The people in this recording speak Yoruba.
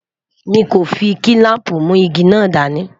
mí kò fí kilampu mu ìgi nà dání